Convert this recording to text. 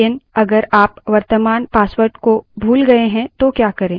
लेकिन वर्त्तमान password को अगर आप भूल गए हैं तो क्या करें